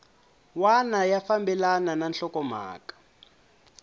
wana ya fambelana na nhlokomhaka